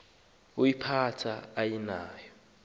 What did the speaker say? woyiphatha aye nayo